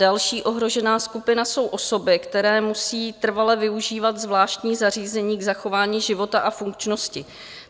Další ohrožená skupina jsou osoby, které musí trvale využívat zvláštní zařízení k zachování života a funkčnosti.